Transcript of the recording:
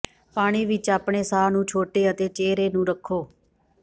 ਪਾਣੀ ਵਿਚ ਆਪਣੇ ਸਾਹ ਨੂੰ ਛੋਟੇ ਅਤੇ ਚਿਹਰੇ ਨੂੰ ਰੱਖੋ